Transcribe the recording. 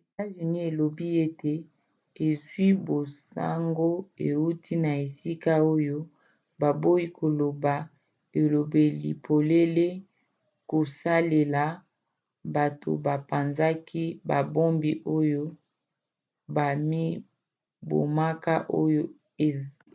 etats-unis elobi ete ezwi basango euti na esika oyo baboyi koloba elobeli polele kosalela bato bapanzaki babombi oyo bamibomaka oyo